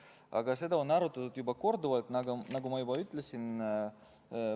Aga seda on arutatud korduvalt, nagu ma juba ütlesin.